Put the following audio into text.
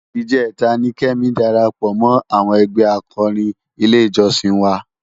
Ijètá ni Kemi dàrápò mò áwòn ègbè ákòrín ilé ijòsín wá